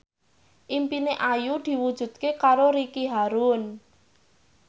impine Ayu diwujudke karo Ricky Harun